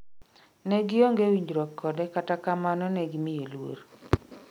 Ne gionge winjruok kode kata kamano negimiye luor